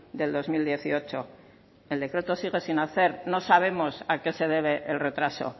del dos mil dieciocho el decreto sigue sin hacer no sabemos a qué se debe el retraso